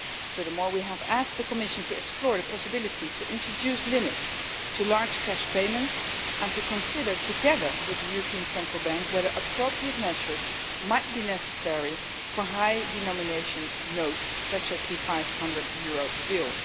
Furthermore, we have asked the Commission to explore the possibility of introducing limits to large cash payments and to consider, together with the European Central Bank, whether appropriate measures might be necessary for high denomination notes such as the EUR 500 bill.